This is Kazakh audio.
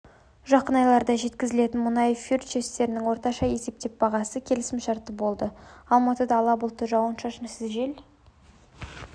жақын айларда жеткізілетін мұнай фьючерстерінің орташа есептеген бағасы келісімшартына барр болды алматыда ала бұлтты жауын-шашынсыз жел